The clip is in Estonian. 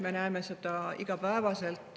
Me näeme seda igapäevaselt.